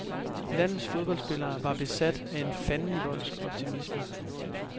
Landets fodboldspillere var besat af en fandenivoldsk optimisme.